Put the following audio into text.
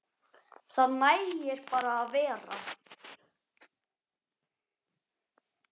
Það nægir bara að vera.